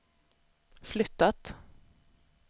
flyttat